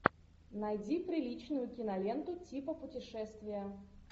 найди приличную киноленту типа путешествия